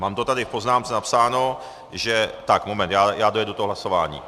Mám to tady v poznámce napsáno, že... tak moment, já dojedu to hlasování.